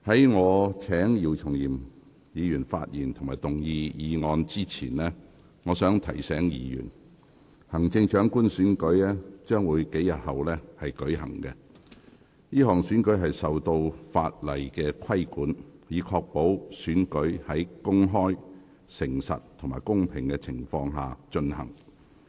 在我請姚松炎議員發言及動議議案前，我想提醒議員，行政長官選舉將在數天後舉行，這項選舉受法例規管，以確保選舉在公開、誠實及公平的情況下進行。